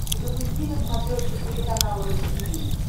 запусти на смотрешке телеканал ру ти ви